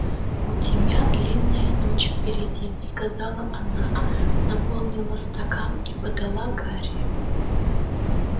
у тебя длинная ночь впереди сказала она наполнила стакан и подала гарри